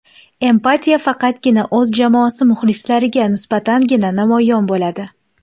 Empatiya faqatgina o‘z jamoasi muxlislariga nisbatangina namoyon bo‘ladi.